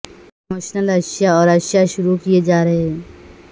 promotional اشیاء اور اشیاء شروع کیے جا رہے ہیں